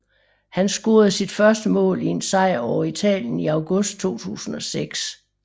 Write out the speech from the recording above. Han scorede sit første mål i en sejr over Italien i august 2006